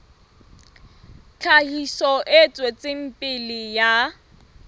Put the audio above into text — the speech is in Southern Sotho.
tlhahiso e tswetseng pele ya